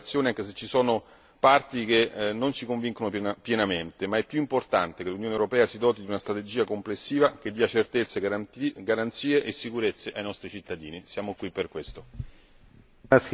Voteremo quindi a favore di questa relazione anche se ci sono parti che non ci convincono pienamente, ma è più importante che l'Unione europea si doti di una strategia complessiva, che dia certezze, garanzie e sicurezze ai nostri cittadini. Siamo qui per questo.